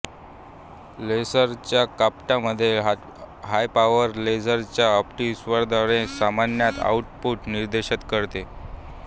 लेसरच्या कपाटामध्ये हायपॉवर लेझरचे ऑप्टीक्सद्वारे सामान्यतः आउटपुट निर्देशित करते